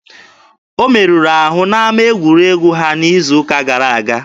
O merụrụ ahụ n'ama egwuregwu ha n'izu ụka gara aga.